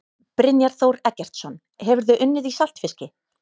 Brynjar Þór Eggertsson Hefurðu unnið í saltfiski?